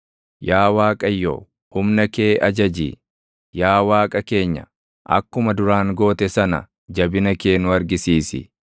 Yaa Waaqayyo, humna kee ajaji; yaa Waaqa keenya, akkuma duraan goote sana // jabina kee nu argisiisi.